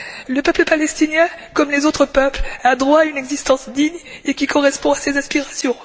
Le peuple palestinien, comme les autres peuples, a droit à une existence digne et qui corresponde à ses aspirations.